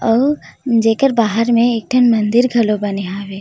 अउ जेकर बाहर में एक ठन मंदिर घलो बने हावे।